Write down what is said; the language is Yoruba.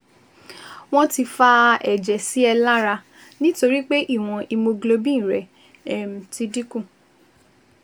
Wọ́n ti fa ẹ̀jẹ̀ sí ẹ lára nítorí pé ìwọ̀n hemoglobin rẹ um ti dín kù